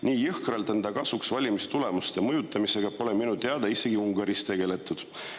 "Nii jõhkralt enda kasuks valimistulemuste mõjutamisega pole minu teada isegi Ungaris tegeletud.